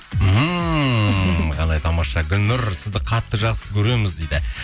ммм қандай тамаша гүлнұр сіздің қатты жақсы көреміз дейді